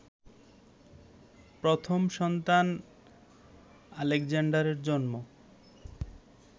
প্রথম সন্তান আলেক্সান্ডারের জন্ম